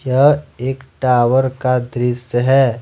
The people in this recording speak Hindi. यह एक टावर का दृश्य है।